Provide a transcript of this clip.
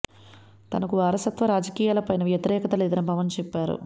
తనకు వారసత్వ రాజకీయాల పైన వ్యతిరేకత లేదని పవన్ చెప్పారు